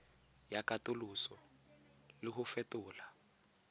ya katoloso le go fetola